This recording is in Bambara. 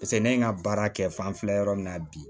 paseke ne ye n ka baara kɛ fan fila yɔrɔ min na bi